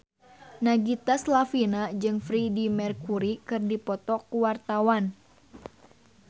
Nagita Slavina jeung Freedie Mercury keur dipoto ku wartawan